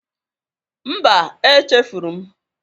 Mba, echefuru m